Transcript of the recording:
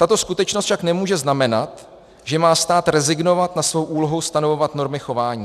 Tato skutečnost však nemůže znamenat, že má stát rezignovat na svou úlohu stanovovat normy chování.